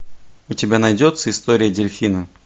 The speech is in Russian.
у тебя найдется история дельфина